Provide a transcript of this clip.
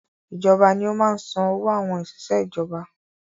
Ìjọba ní ó máa ń san owó àwọn òṣìṣẹ́ ìjọba